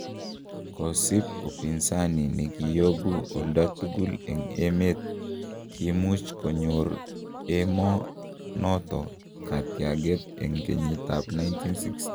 Kosib upinzani negiyobu olda tugul en emet, kimuch konyor emo noton katyaget en kenyiit ab 1960.